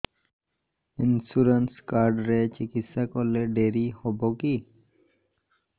insurance card ରେ ଚିକିତ୍ସା କଲେ ଡେରି ହବକି